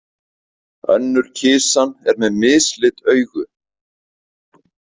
Önnur kisan er með mislit augu.